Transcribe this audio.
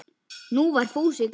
Nú var Fúsi glaður.